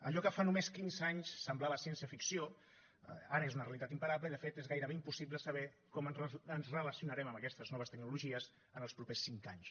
allò que fa només quinze anys semblava ciència ficció ara és una realitat imparable i de fet és gairebé impossible saber com ens relacionarem amb aquestes noves tecnologies en els propers cinc anys